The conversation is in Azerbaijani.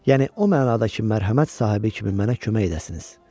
Yəni o mənada ki, mərhəmət sahibi kimi mənə kömək edəsiniz.